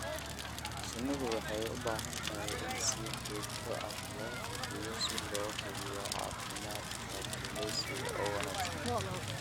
Shinnidu waxay u baahan tahay in si joogto ah loo hubiyo si loo hubiyo caafimaadka gumeysiga oo wanaagsan.